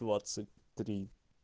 двадцать три